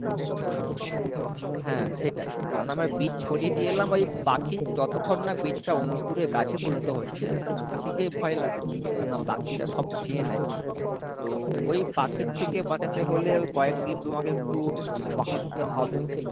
হ্যাঁ সেটাই কেননা আমরা বীজ ছড়িয়ে দিয়ে এলাম ওই পাখির যতক্ষণ না বীজটা অংকুরে গাছে পরিণত হচ্ছে একটু পাখিকে ভয় লাগে কেননা পাখিরা সব খেয়ে নেয় তো ওই পাখির থেকে বাঁচাতে হলে কয়েকদিন তোমাকে একটু আহ পাহারা দিতে হবে।